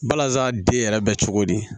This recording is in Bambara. Balaza den yɛrɛ bɛ cogo di